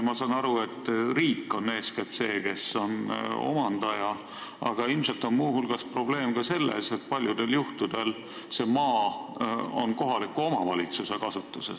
Ma saan aru, et riik on eeskätt see, kes on omandaja, aga ilmselt on muu hulgas probleem selles, et paljudel juhtudel on see maa kohaliku omavalitsuse kasutuses.